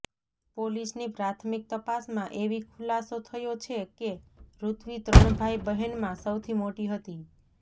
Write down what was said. પોલીસની પ્રાથમિક તપાસમાં એવી ખુલાસો થયો છે કે રૂત્વી ત્રણ ભાઈ બહેનમાં સૌથી મોટી હતી